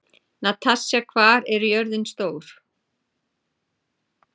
Natasja, hvað er jörðin stór?